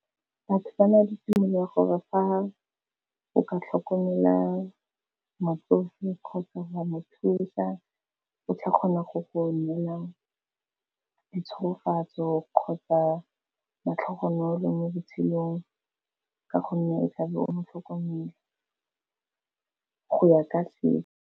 Batho ba na le tumelo ya gore fa o ka tlhokomela motsofe kgotsa wa mo thusa, o tla kgona go go neela ditsholofetso kgotsa matlhogonolo mo botshelong ka gonne e tlabe o mo tlhokomela go ya ka se.